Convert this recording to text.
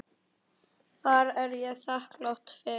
Það er ég þakklát fyrir.